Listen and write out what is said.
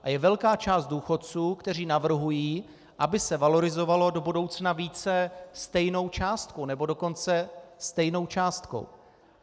A je velká část důchodců, kteří navrhují, aby se valorizovalo do budoucna více stejnou částkou, nebo dokonce stejnou částkou.